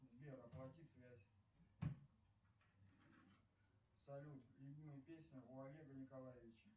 сбер оплати связь салют любимая песня у олега николаевича